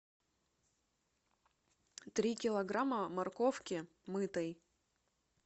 три килограмма морковки мытой